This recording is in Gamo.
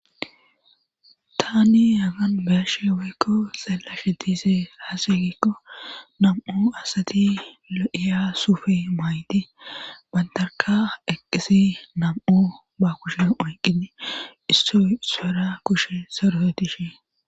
Tani yaagan beashe waykko xallashe diise haasigikko nam'u asati lo'iya sufe maaydi bantarka eqqisi nam'u ba kushe oyqqini issoy ispera kushe sorohotishe.